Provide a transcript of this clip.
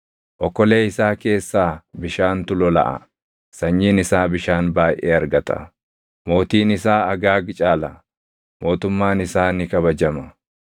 Okolee isaa keessaa bishaantu lolaʼa; sanyiin isaa bishaan baayʼee argata. “Mootiin isaa Agaag caala; mootummaan isaa ni kabajama.